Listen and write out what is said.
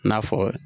I n'a fɔ